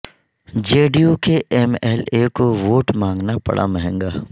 جے D U کے M L A کو vote مانگنا پڑا مہنگا